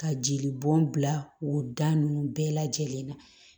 Ka jeli bɔn bila o da nunnu bɛɛ lajɛlen na